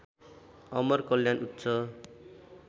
अमर कल्याण उच्च